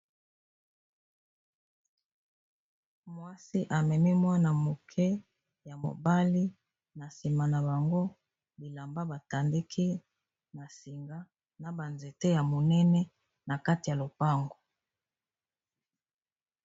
Mwasi, amemi mwana moke ya mobali. Na nsima na bango, bilamba batandii na singa, na banzete ya monene na kati ya lopango.